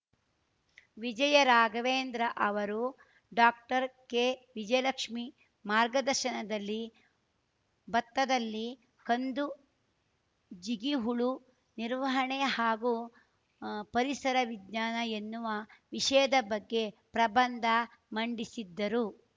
ವಿಜಯರಾಘವೇಂದ್ರ ಅವರು ಡಾಕ್ಟರ್ಕೆವಿಜಯಲಕ್ಷ್ಮಿ ಮಾರ್ಗದರ್ಶನದಲ್ಲಿ ಬತ್ತದಲ್ಲಿ ಕಂದು ಜಿಗಿಹುಳು ನಿರ್ವಹಣೆ ಹಾಗೂ ಪರಿಸರ ವಿಜ್ಞಾನ ಎನ್ನುವ ವಿಷಯದ ಬಗ್ಗೆ ಪ್ರಬಂಧ ಮಂಡಿಸಿದ್ದರು